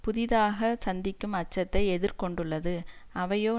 புதிதாக சந்திக்கும் அச்சத்தை எதிர் கொண்டுள்ளது அவையோ